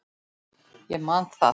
Ég man það.